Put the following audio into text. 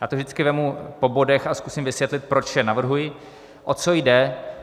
Já to vždycky vezmu po bodech a zkusím vysvětlit, proč je navrhuji, o co jde.